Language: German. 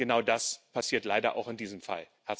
Und genau das passiert leider auch in diesem Fall.